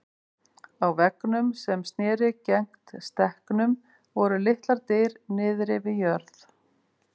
Á veggnum sem sneri gegnt stekknum voru litlar dyr niðri við jörð.